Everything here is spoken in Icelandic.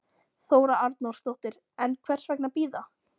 Þóra Arnórsdóttir: En hvers vegna bíða?